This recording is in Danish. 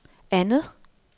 andet